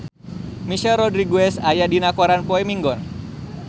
Michelle Rodriguez aya dina koran poe Minggon